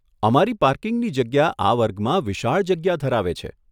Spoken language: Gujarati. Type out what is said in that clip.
અમારી પાર્કિંગની જગ્યા આ વર્ગમાં વિશાળ જગ્યા ધરાવે છે.